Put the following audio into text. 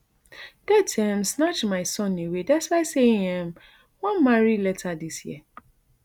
death um snatch my son away despite say im um wan marry later dis year